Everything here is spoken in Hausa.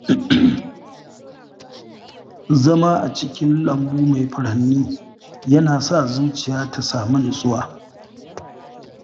Zama a cikin lambu mai furanni yana sa zuciya ta samu nutsuwa.